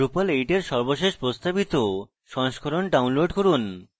drupal 8 সর্বশেষ প্রস্তাবিত সংস্করণ download করুন